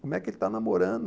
Como é que ele está namorando?